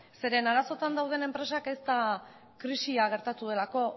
zeren eta arazoetan dauden enpresak ez da krisia gertatu delako